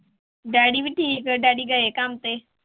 Daddy ਵੀ ਠੀਕ ਹੈ daddy ਗਏ ਕੰਮ ਤੇ।